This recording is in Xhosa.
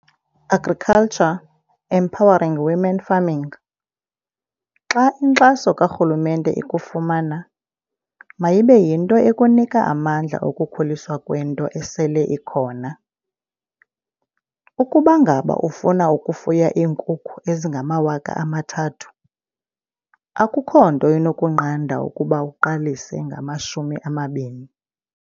Agriculture, Empowering Women Farming. "Xa inkxaso karhulumente ikufumana, mayibe yinto ekunika amandla okukhuliswa kwento esele ikhona. Ukuba ngaba ufuna ukufuya iinkukhu ezingama-3 000, akukho nto inokunqanda ukuba uqalise ngama-20."